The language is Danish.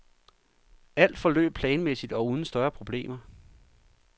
Alt forløb planmæssigt og uden større problemer.